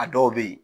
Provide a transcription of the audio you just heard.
A dɔw bɛ yen